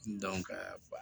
Dɔn ka ba